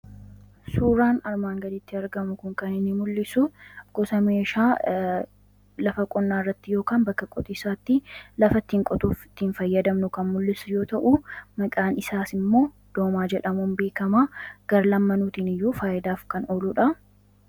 Suuraan armaan gaditti argamu kun kan inni mul'isu gosa meeshaa lafa qonnaa irratti yookan bakka qotiisaatti lafattiin qotuuf ittiin fayyadamnu kan mul'isu yoo ta'u maqaan isaas immoo doomaa jedhamuun beekamaa. Garlamaaniiniyyuu faayidaaf kan ooludha.